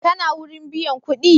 Kana wurin biyan kuɗi?